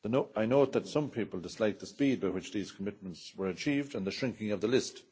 I note that some people disliked the speed with which these commitments were achieved and the shrinking of the list.